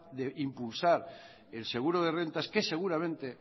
de impulsar el seguro de rentas que seguramente